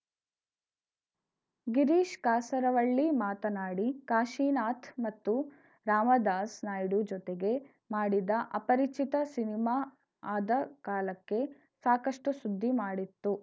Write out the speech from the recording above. ಗಿರೀಶ್‌ ಕಾಸರವಳ್ಳಿ ಮಾತನಾಡಿ ಕಾಶೀನಾಥ್‌ ಮತ್ತು ರಾಮದಾಸ್‌ ನಾಯ್ಡು ಜೊತೆಗೆ ಮಾಡಿದ ಅಪರಿಚಿತ ಸಿನಿಮಾ ಆದ ಕಾಲಕ್ಕೆ ಸಾಕಷ್ಟುಸುದ್ದಿ ಮಾಡಿತ್ತು